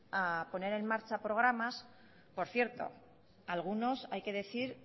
a poner en marcha programas por cierto algunos hay que decir